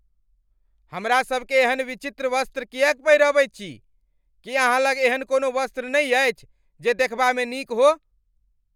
हमरा सभकेँ एहन विचित्र वस्त्र किएक पहिरबैत छी? की अहाँ लग एहन कोनो वस्त्र नहि अछि जे देखबामे नीक हो?